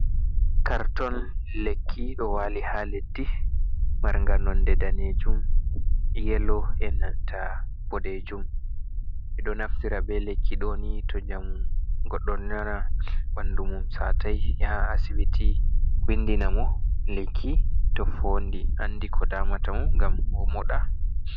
Karton lekki do wali ha leddi marnga nonde danejum, yelo e nanta bodejum. Ɓeɗo naftira be lekki doni to nyamu ngoɗdon nyawi ɓandumum satai yaha asibiti windina mo lekki to fondi andi ko damata mo gam omoɗa.